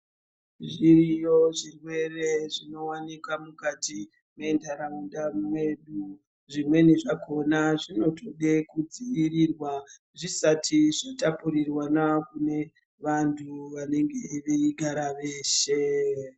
Zviriyo zvirwere zvinowanika mukati mendaraunda mwedu, zvimweni zvakona zvinotode kudziirirwa zvisati zvatapurirwana nevantu vanenge veigara veshe.